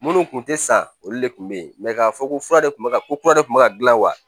Minnu tun tɛ san olu de tun bɛ yen k'a fɔ ko fura de tun bɛ kura de kun bɛ ka gilan wa